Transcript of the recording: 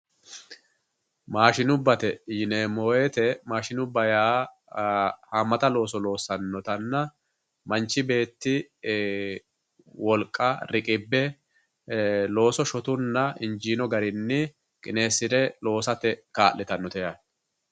Mashinubbate yineemmo woyte mashinubba hamata looso loossanotta Manchi beetti wolqa riqibbe looso shotunna injino garinni qinesire loossate kaa'littanote yaate.